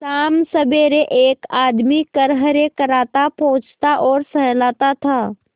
शामसबेरे एक आदमी खरहरे करता पोंछता और सहलाता था